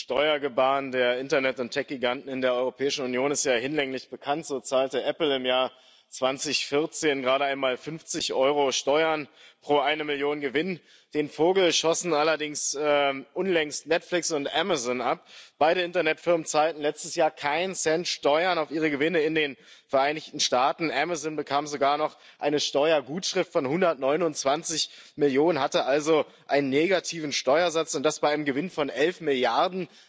Das Steuergebaren der Internet und Tech Giganten in der Europäischen Union ist ja hinlänglich bekannt So zahlte Apple im Jahr 2014 gerade einmal 50 Euro Steuern pro eine Million Euro Gewinn. Den Vogel schossen allerdings unlängst Netflix und Amazon ab Beide Internetfirmen zahlten letztes Jahr keinen Cent Steuern auf ihre Gewinne in den Vereinigten Staaten. Amazon bekam sogar noch eine Steuergutschrift von 129 Millionen, hatte also einen negativen Steuersatz, und das bei einem Gewinn von 11 Milliarden.